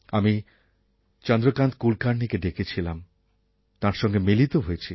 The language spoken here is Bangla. আমি চন্দ্রকান্ত কুলকার্ণিকে ডেকেছিলাম তাঁর সঙ্গে মিলিত হয়েছি